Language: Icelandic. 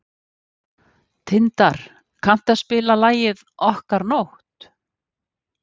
Tindar, kanntu að spila lagið „Okkar nótt“?